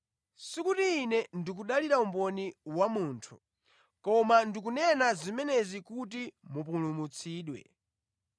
Sikuti Ine ndikudalira umboni wa munthu; koma ndikunena zimenezi kuti mupulumutsidwe.